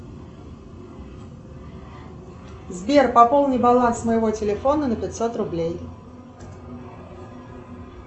сбер пополни баланс моего телефона на пятьсот рублей